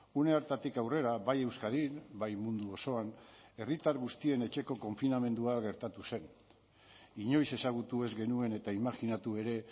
une hartatik aurrera bai euskadin bai mundu osoan herritar guztien etxeko konfinamendua gertatu zen inoiz ezagutu ez genuen eta imajinatu ere